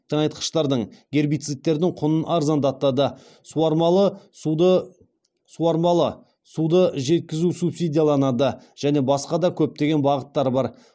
тыңайтқыштардың гербицидтердің құнын арзандатады суармалы суды жеткізу субсидияланады және басқа да көптеген бағыттар бар